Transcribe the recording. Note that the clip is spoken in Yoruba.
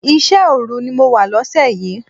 Iṣẹ́ òru ni mo wà lóṣẹ̀ yìí.